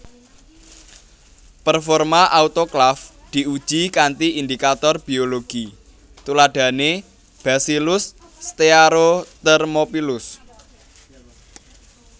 Performa autoklaf diuji kanthi indicator biologi tuladhane Bacillus stearothermophilus